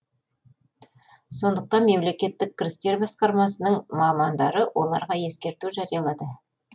сондықтан мемлекеттік кірістер басқармасының мамандары оларға ескерту жариялады